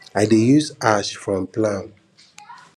i dey use ash from palm fronds to fertilize my herbal beds